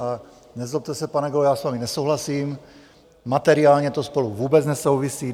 A nezlobte se, pane kolego, já s vámi nesouhlasím, materiálně to spolu vůbec nesouvisí.